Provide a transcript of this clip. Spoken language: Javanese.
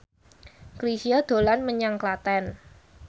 Chrisye dolan menyang Klaten